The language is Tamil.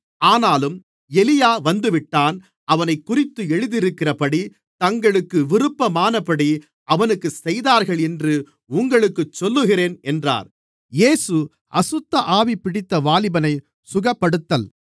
ஆனாலும் எலியா வந்துவிட்டான் அவனைக்குறித்து எழுதியிருக்கிறபடி தங்களுக்கு விருப்பமானபடி அவனுக்குச் செய்தார்கள் என்று உங்களுக்குச் சொல்லுகிறேன் என்றார்